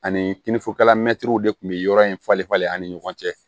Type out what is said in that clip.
Ani kinifogalan mɛtiriw de tun bɛ yɔrɔ in falen falen ani ɲɔgɔn cɛ